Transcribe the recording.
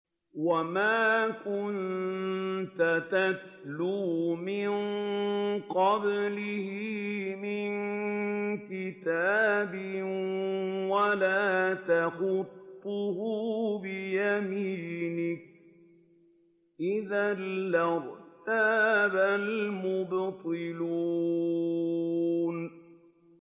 وَمَا كُنتَ تَتْلُو مِن قَبْلِهِ مِن كِتَابٍ وَلَا تَخُطُّهُ بِيَمِينِكَ ۖ إِذًا لَّارْتَابَ الْمُبْطِلُونَ